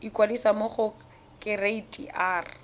ikwadisa mo go kereite r